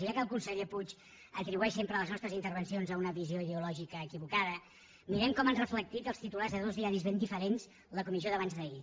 i ja que el conseller puig atribueix sempre les nostres intervencions a una visió ideològica equivocada mirem com han reflectit els titulars de dos diaris ben diferents la comissió d’abans d’ahir